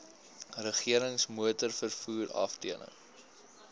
regerings motorvervoer afdeling